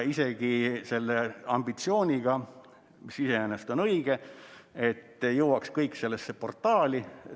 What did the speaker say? See ambitsioon on iseenesest õige, et kõik peaks jõudma sellesse portaali.